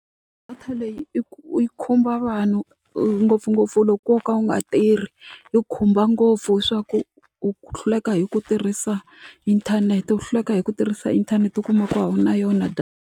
Data leyi u yi khumba vanhu ngopfungopfu loko wo ka u nga tirhi yi khumba ngopfu hi swa ku u hluleka hi ku tirhisa inthanete u hluleka hi ku tirhisa inthanete u kuma ku a wu na yona data.